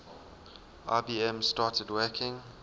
ibm started working